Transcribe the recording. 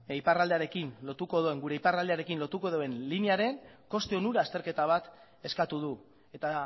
gure iparraldearekin lotuko duen linearen koste onura azterketa bat eskatu du eta